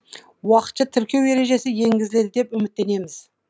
уақытша тіркеу ережесі енгізіледі деп үміттенеміз